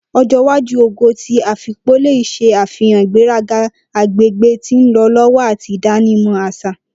Ojo iwaju Ogo ti Afikpo le ṣe afihan igberaga agbegbe ti nlọ lọwọ ati idanimọ aṣa.